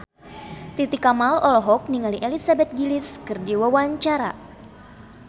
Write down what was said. Titi Kamal olohok ningali Elizabeth Gillies keur diwawancara